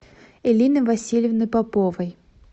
элины васильевны поповой